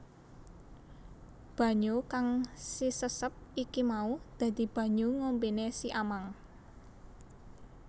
Banyu kang sisesep iki mau dadi banyu ngombene siamang